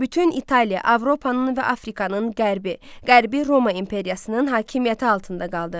Bütün İtaliya, Avropanın və Afrikanın qərbi Qərbi Roma imperiyasının hakimiyyəti altında qaldı.